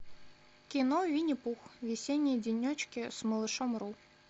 кино винни пух весенние денечки с малышом ру